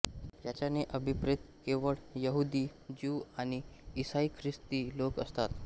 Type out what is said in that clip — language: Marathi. याच्याने अभिप्रेत केवळ यहुदी ज्यू आणि ईसाई ख्रिस्ती लोक असतात